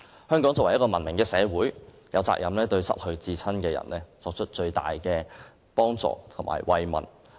香港是一個文明的社會，有責任對失去至親的人作出最大的幫助和慰問。